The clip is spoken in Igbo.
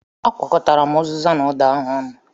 Akwọ̀kọtara m uziza na ụda ahụ ọnụ.